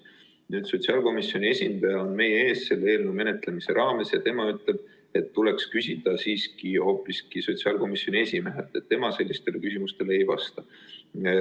Nüüd, kui sotsiaalkomisjoni esindaja on selle eelnõu menetlemise raames meie ees, ütleb tema, et tuleks küsida hoopis sotsiaalkomisjoni esimehelt, sest tema sellistele küsimustele ei vasta.